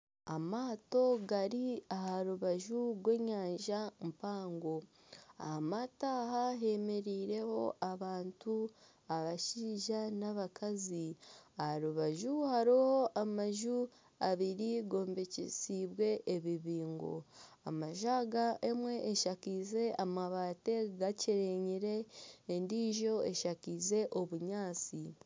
Amaato gari aha rubaju rw'enyanja mpango. Aha maato aha hemereire ho abantu abashaija n'abakazi. Aha rubaju hariho amaju abari gombekyesiibwe ebibingo. Amaju aga emwe eshakiize amabaati gakyerenyire endiijo eshakiize obunyaatsi.